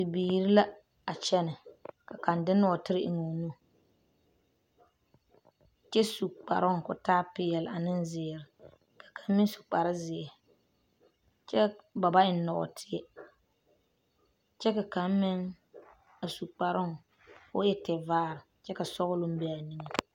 Bibiiri la a kyɛnɛ ka kaŋ de nɔɔtere eŋ o nu kyɛ su kparoo ka o taa peɛle ane zeere ka kaŋ meŋ su kparezeɛ kyɛ ba ba eŋ nɔɔteɛ kyɛ ka kaŋ meŋ a su kparoo ka o e tevaare kyɛ ka sɔgloŋ be a niŋeŋ.